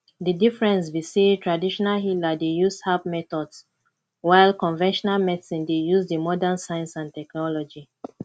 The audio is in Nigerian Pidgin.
di difference be say traditional healer dey use herbs methods while conventional medicine dey use di modern science and technology